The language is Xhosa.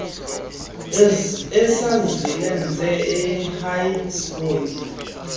esasilenze ehigh school